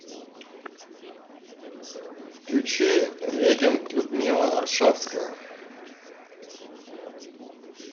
включи регент людмила аршавская